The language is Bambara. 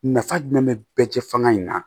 Nafa jumɛn be bɛɛ cɛ fanga in na